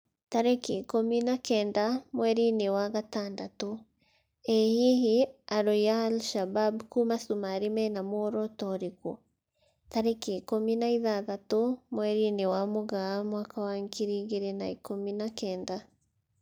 Tarĩki ikũmi na kenda mweri-inĩ wa gatandatũ: ĩ hihi arũi a Al-shabab kuma Sumarĩ mena muoroto ũrĩkũ? tarĩki ikũmi na ithathatũ mweri-inĩ wa Mũgaa mwaka wa ngiri igĩrĩ na ikũmi na kenda